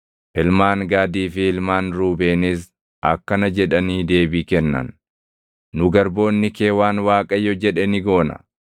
Ilmaan Gaadii fi ilmaan Ruubeenis akkana jedhanii deebii kennan; “Nu garboonni kee waan Waaqayyo jedhe ni goona.